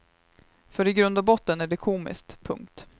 För i grund och botten är det komiskt. punkt